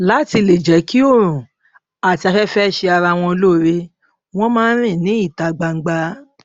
láti lè jẹ kí oòrùn àti afẹfẹ ṣe ara wọn lóore wón máa ń rìn ní ìta gbangba